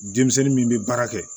Denmisɛnnin min bɛ baara kɛ